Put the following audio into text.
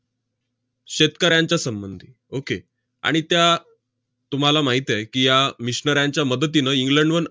शेतकऱ्यांच्या संबंधी. okay आणि त्या तुम्हाला माहित आहे की, या missionaries च्या मदतीनं इंग्लंडहून